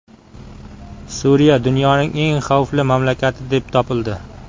Suriya dunyoning eng xavfli mamlakati deb topildi.